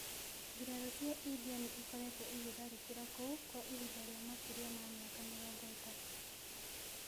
Mbirarū cia India nĩ ĩkoretwo ĩgĩtharĩkĩra kũu kwa ihinda rĩa makĩria ma mĩaka mĩrongo ĩtatũ.